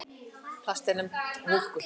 Þar er plastið nefnt hólkur.